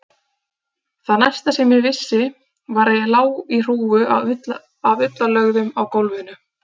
Það næsta sem ég vissi var að ég lá í hrúgu af ullarlögðum á gólfinu.